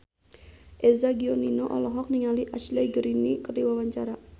Eza Gionino olohok ningali Ashley Greene keur diwawancara